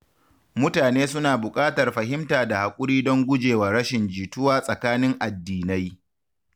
Mutane suna buƙatar fahimta da haƙuri don guje wa rashin jituwa tsakanin addinai.